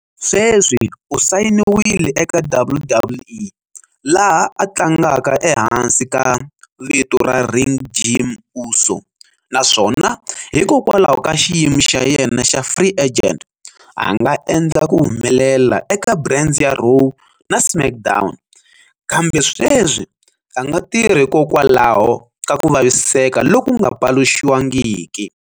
Sweswi u sayiniwile eka WWE, laha a tlangaka ehansi ka vito ra ring Jimmy Uso, naswona hikokwalaho ka xiyimo xa yena xa "free agent", anga endla ku humelela eka brands ya Raw na SmackDown, kambe sweswi anga tirhi hikokwalaho ka ku vaviseka lokunga paluxiwangiki.